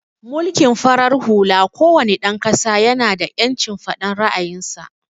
Mulkin farar hula ko wane dan ƙasa ya na da ƴancin faɗan ra'ayin sa